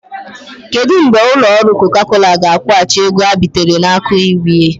Kedụ mgbe ụlọ ọrụ Coca Cola ga-akwụghachi ego ha bitere n'aka UBA?